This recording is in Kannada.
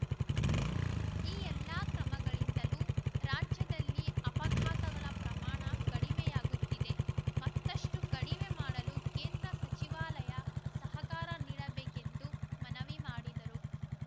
ಈ ಎಲ್ಲಾ ಕ್ರಮಗಳಿಂದಲೂ ರಾಜ್ಯದಲ್ಲಿ ಅಪಘಾತಗಳ ಪ್ರಮಾಣ ಕಡಿಮೆಯಾಗುತ್ತಿದೆ ಮತ್ತಷ್ಟುಕಡಿಮೆ ಮಾಡಲು ಕೇಂದ್ರ ಸಚಿವಾಲಯ ಸಹಕಾರ ನೀಡಬೇಕು ಎಂದು ಮನವಿ ಮಾಡಿದರು